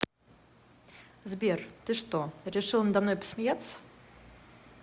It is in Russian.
сбер ты что решил надо мной посмеяться